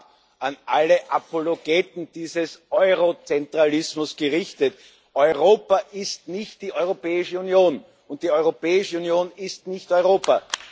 Gleich vorab an alle Apologeten dieses Eurozentralismus gerichtet Europa ist nicht die Europäische Union und die Europäische Union ist nicht Europa.